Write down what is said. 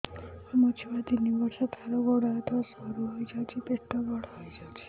ମୋ ଛୁଆ ତିନି ବର୍ଷ ତାର ଗୋଡ ହାତ ସରୁ ହୋଇଯାଉଛି ପେଟ ବଡ ହୋଇ ଯାଉଛି